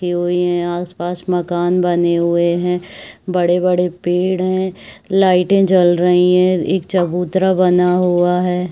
के हुई है आस-पास माकन बने हुए है बड़े-बड़े पेड़ है लाइटें जल रही है एक चबूत्रा बना हुआ है ।